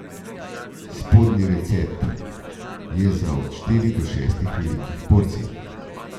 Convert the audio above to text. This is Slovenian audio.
Spodnji recept je za od štiri do šest velikih porcij.